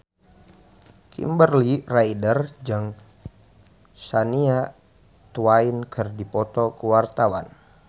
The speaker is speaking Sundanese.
Kimberly Ryder jeung Shania Twain keur dipoto ku wartawan